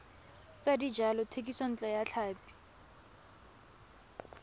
tsa dijalo thekisontle ya tlhapi